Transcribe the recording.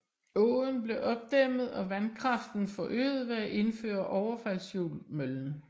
Åen blev opdæmmet og vandkraften forøget ved at indføre overfaldshjul møllen